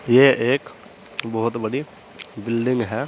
ये एक बहोत बड़ी बिल्डिंग है।